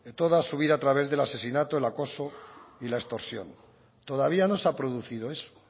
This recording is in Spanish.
toda su vida a través del asesinato el acoso y la extorsión todavía no se ha producido eso